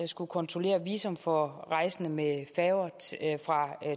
skulle kontrollere visum for rejsende med færger fra